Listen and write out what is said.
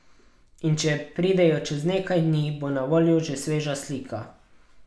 In če pridejo čez nekaj dni, bo na voljo že sveža slika.